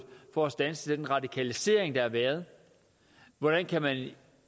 for at standse den radikalisering der har været hvordan kan man